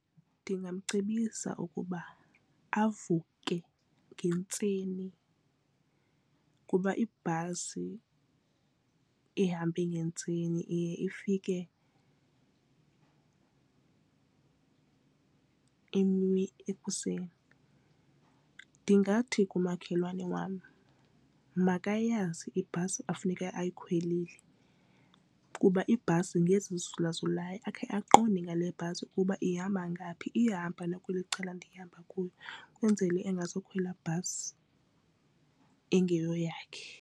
Ndingamcebisa ukuba avuke ngentseni kuba ibhasi ihambe ngentseni iye ifike ekuseni. Ndingathi kumakhelwane wam makayazi ibhasi ekufuneke ayikhwelile kuba ibhasi ngezi zizulazulayo akhe aqonde ngale bhasi ukuba ihamba ngaphi iyahamba nakweli cala ndihamba kuuo ukwenzele engazukhwela bhasi ingeyo yakhe.